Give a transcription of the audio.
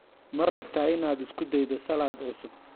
Ma rabtaa inaad isku daydo salad cusub?